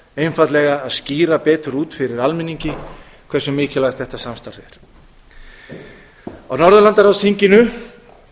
einfaldlega að skýra betur út fyrir almenningi hversu mikilvægt þetta samstarf er á norðurlandaráðsþinginu